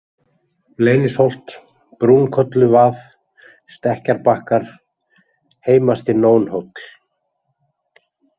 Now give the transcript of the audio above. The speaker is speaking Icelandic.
Leynisholt, Brúnkolluvað, Stekkjarbakkar, Heimasti-Nónhóll